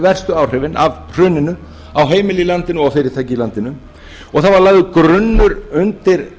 verstu áhrifin af hruninu á heimilin í landinu og fyrirtæki í landinu og það var lagður grunnur undir